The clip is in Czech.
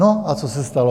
No a co se stalo?